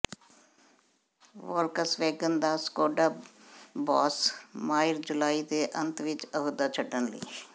Volkswagen ਦਾ Skoda boss Maier ਜੁਲਾਈ ਦੇ ਅੰਤ ਵਿਚ ਅਹੁਦਾ ਛੱਡਣ ਲਈ